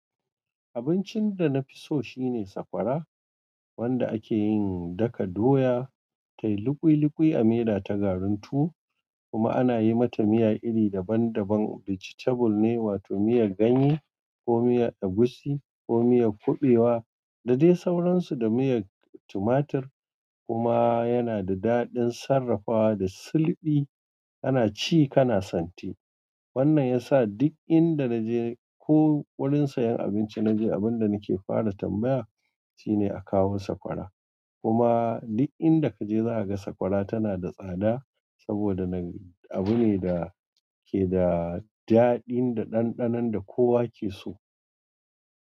Abincin da na fi so shine sakwara wanda ake yin daka doya, tayi lukwi-lukwi a miya ta garuntu kuma ana yi mata miya iri daban-daban. Vegetable ne wato miyar ganye ko miyar egusi ko miyar kuɓewa da dai sauransu da miyar tumatur kuma yana da daɗin sarrafawa da sulɓi kana ci kana santi. Wannan ya sa duk inda naje ko wurin sayan abinci naje abin da nake fara tambaya shine a kawo sakwara kuma duk inda kaje za ka ga sakwara tana da tsada saboda abu ne da ke da daɗi da ɗanɗanon da kowa ke so.